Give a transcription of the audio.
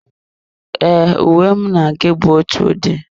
E, uwe mụ na gị bu ótụ ụdị